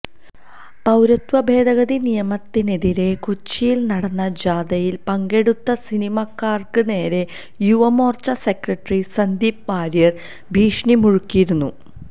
പൌരത്വ ഭേദഗതി നിയമത്തിനെതിരെ കൊച്ചിയിൽ നടന്ന ജാഥയിൽ പങ്കെടുത്ത സിനിമാക്കാർക്ക് നേരെ യുവമോർച്ച സെക്രട്ടറി സന്ദീപ് വാര്യർ ഭീഷണി മുഴക്കിയിരുന്നു